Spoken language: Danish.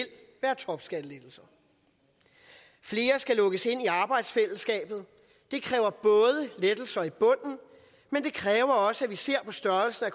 være topskattelettelser flere skal lukkes ind i arbejdsfællesskabet det kræver lettelser i bunden men det kræver også at vi ser på størrelsen af